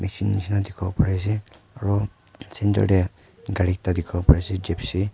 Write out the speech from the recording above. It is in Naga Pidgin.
nishe na dikhi bo pari ase aru centre te gari ekta dikhibo pari ase gypsy .